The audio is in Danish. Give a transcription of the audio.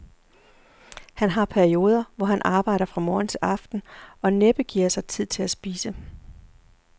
Han har perioder, hvor han arbejder fra morgen til aften og næppe giver sig tid til at spise.